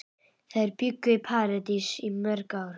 Þær bjuggu í París í mörg ár.